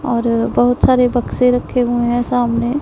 और बहुत सारे बक्से रखे हुए हैं सामने--